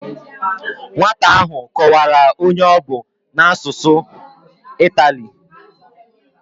Nwata ahụ kọwara onye ọ bụ a n'asụsụ itali